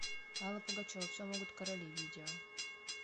алла пугачева все могут короли видео